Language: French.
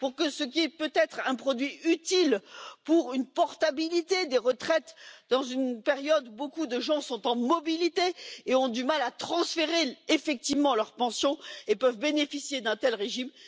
Ce produit peut s'avérer utile pour une portabilité des retraites dans une période où beaucoup de gens sont en mobilité, ont du mal à transférer effectivement leur pension et peuvent bénéficier d'un tel régime.